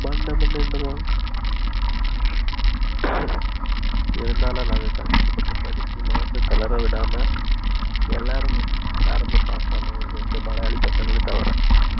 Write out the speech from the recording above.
இருந்தாலும் நாங்க கஷ்ட பட்டு படிச்சி மனச தளர விடாம எல்லாரும் pass ஆனோம் இரண்டு மலையாளி பசங்கல தவிர